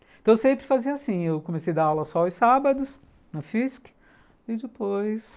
Então, eu sempre fazia assim, eu comecei a dar aula só os sábados, na física, e depois